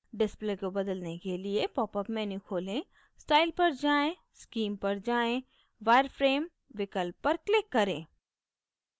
display को बदलने के लिए popअप menu खोलें style पर जाएँ scheme पर जाएँ wireframe विकल्प पर click करें